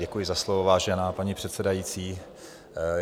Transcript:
Děkuji za slovo, vážená paní předsedající.